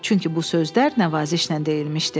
Çünki bu sözlər nəvazişlə deyilmişdi.